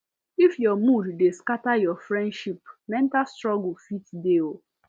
if your mood dey scatter your friendship mental struggle fit dey